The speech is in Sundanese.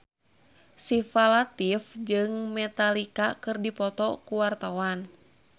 Syifa Latief jeung Metallica keur dipoto ku wartawan